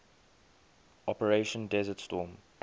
operation desert storm